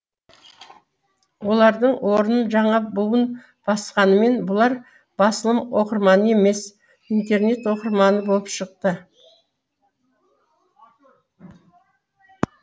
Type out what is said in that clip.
олардың орнын жаңа буын басқанымен бұлар басылым оқырманы емес интернет оқырманы болып шықты